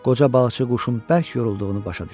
Qoca balıqçı quşun bərk yorulduğunu başa düşdü.